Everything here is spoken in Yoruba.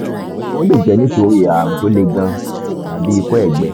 ó lè jẹ́ nítorí ààrùn tó le gan-an tàbí ikọ́ ẹ̀gbẹ